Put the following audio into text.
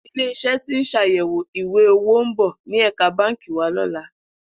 Ilé is̩é̩ tí ń s̩àyè̩wò ìwé-owó ń bò̩ ní è̩ka báǹkì wa ló̩la